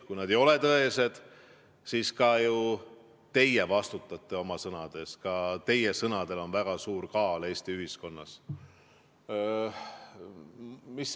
Kui need ei ole tõesed, siis ju ka teie vastutate oma sõnade eest, ka teie sõnadel on väga suur kaal Eesti ühiskonnas.